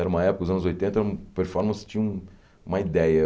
Era uma época, os anos oitenta hum, performance tinha um uma ideia.